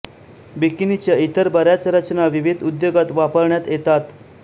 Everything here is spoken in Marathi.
बिकिनीच्या इतर बऱ्याच रचना विविधा उद्योगात वापरण्यात येतात